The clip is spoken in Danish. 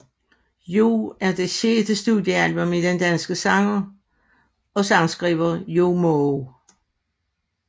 Joey er et det sjette studiealbum af den danske sanger og sangskriver Joey Moe